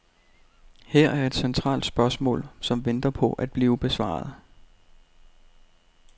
Her er et centralt spørgsmål, som venter på at blive besvaret.